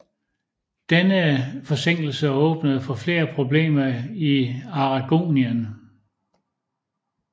Denne forsinkelse åbnede for flere problemer i Aragonien